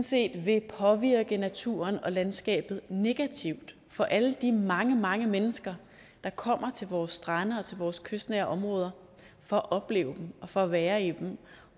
set vil påvirke naturen og landskabet negativt for alle de mange mange mennesker der kommer til vores strande og vores kystnære områder for at opleve dem for at være i dem